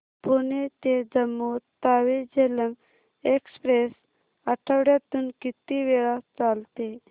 पुणे ते जम्मू तावी झेलम एक्स्प्रेस आठवड्यातून किती वेळा चालते